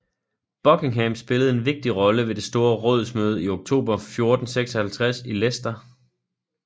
Buckingham spillede en vigtig rolle ved det store rådsmøde i oktober 1456 i Leicester